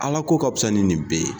Ala ko ka bisa ni nin bɛɛ ye